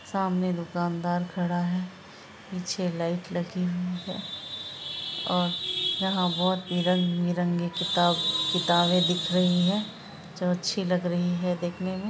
सामने दूकानदार खड़ा है पीछे लाइट लगी हुई है और यहाँ बहोत ही रंग-बिरंगे किताब किताबें दिख रही है जो अच्छी लग रही है देखने में।